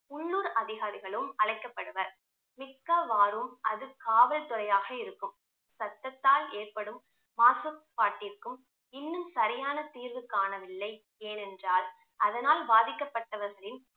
உள்ளூர் அதிகாரிகளும் அழைக்கப்படுவர் மிக்க வாரும் அது காவல்துறையாக இருக்கும் சத்தத்தால் ஏற்படும் மாசுபாட்டிற்கும் இன்னும் சரியான தீர்வு காணவில்லை ஏனென்றால் அதனால் பாதிக்கப்பட்டவர்களின்